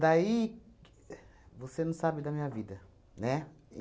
Daí, você não sabe da minha vida, né?